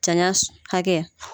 janya hakɛ